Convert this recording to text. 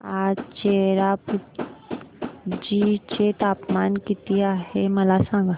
आज चेरापुंजी चे तापमान किती आहे मला सांगा